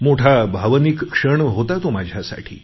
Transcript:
मोठा भावनिक क्षण होता तो माझ्यासाठी